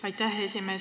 Aitäh, esimees!